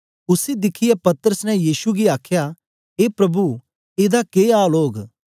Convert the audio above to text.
उसी दिखियै पतरस ने यीशु गी आखया ए प्रभु एदा के आल ओग